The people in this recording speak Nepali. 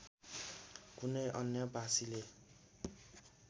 कुनै अन्य़ भाषीले